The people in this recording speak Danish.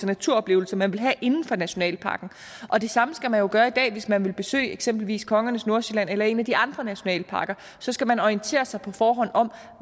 naturoplevelser man vil have inden for nationalparken og det samme skal man jo gøre i dag hvis man vil besøge eksempelvis kongernes nordsjælland eller en af de andre nationalparker så skal man orientere sig på forhånd om